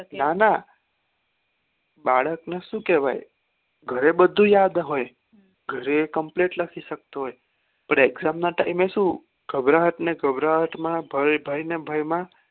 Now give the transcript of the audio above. નાના બાળક ને સુ કેવાય ઘરે બધું યાદ હોય ઘરે એ complete લખી શકતો હોય પણ exam ના time એ શું ઘબ્રાહત ને ઘબ્ર્તાહત માં ભય ભય ને ભય માં